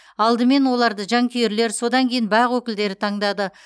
алдымен оларды жанкүйерлер содан кейін бақ өкілдері таңдады